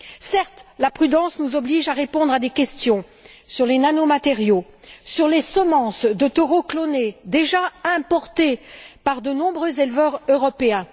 Certes, la prudence nous oblige à répondre à des questions sur les nanomatériaux, sur les semences de taureaux clonés, déjà importées par de nombreux éleveurs européens.